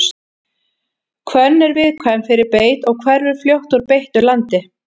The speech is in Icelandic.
hvönn er viðkvæm fyrir beit og hverfur fljótt úr beittu landi